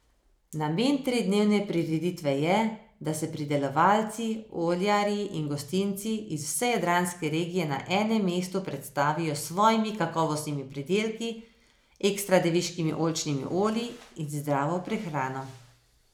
Namen tridnevne prireditve je, da se pridelovalci, oljarji in gostinci iz vse jadranske regije na enem mestu predstavijo s svojimi kakovostnimi pridelki, ekstra deviškimi oljčnimi olji in zdravo prehrano.